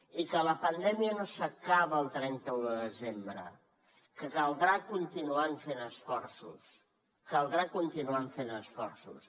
i que la pandèmia no s’acaba el trenta un de desembre que caldrà continuar fent esforços caldrà continuar fent esforços